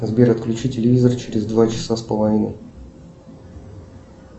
сбер отключи телевизор через два часа с половиной